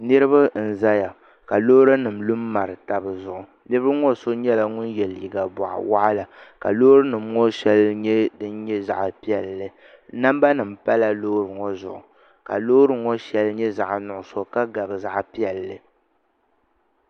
Niraba n ʒɛya ka loori nim lu n mari tabi zuɣu niraba ŋɔ so nyɛla ŋun yɛ liiga boɣa waɣala ka loori nim ŋɔ shɛli nyɛ din nyɛ zaɣ piɛlli namba nim pala loori ŋɔ zuɣu ka loori ŋɔ shɛli nyɛ zaɣ nuɣso ka gabi zaɣ piɛlli